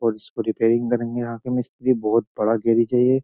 और उसकी रिपेयरिंग करेंगे यहां के मिस्त्री। बोहत बड़ा गैरेज है ये।